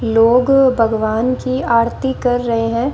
लोग भगवान की आरती कर रहे हैं।